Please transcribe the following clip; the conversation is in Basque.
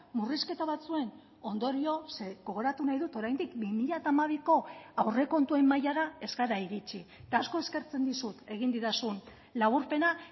murrizketa batzuen ondorioz ze gogoratu nahi dut oraindik bi mila hamabiko aurrekontuen mailara ez gara iritxi eta asko eskertzen dizut egin didazun laburpena